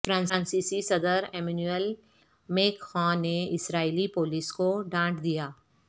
فرانسیسی صدر Emmanuel Macron نے اسرائیلی پولیس کو ڈانٹ دیا